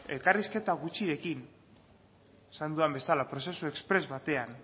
elkarrizketa gutxirekin esan dudan bezala prozesu espres batean